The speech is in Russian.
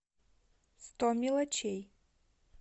сто мелочей